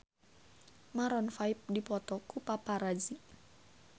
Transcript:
Maroon 5 dipoto ku paparazi